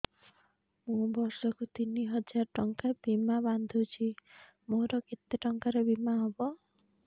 ମୁ ବର୍ଷ କୁ ତିନି ହଜାର ଟଙ୍କା ବୀମା ବାନ୍ଧୁଛି ମୋର କେତେ ଟଙ୍କାର ବୀମା ହବ